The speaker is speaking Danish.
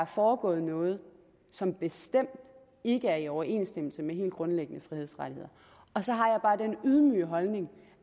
foregået noget som bestemt ikke er i overensstemmelse med helt grundlæggende frihedsrettigheder og så har jeg bare den ydmyge holdning